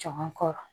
Caman kɔrɔ